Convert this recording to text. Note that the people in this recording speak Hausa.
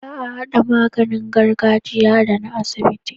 Ba a hada maganin gargajiya da na asibiti